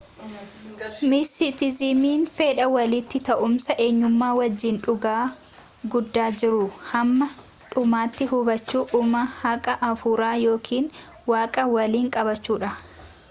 mistisizimiin fedha walitti ta’uumsa enyummaa wajjiin dhugaa guddaa jiruu hamma dhumaatti hubachuu uumaa haaqa afuuraa yookiin waaqa waliin qabaachuudha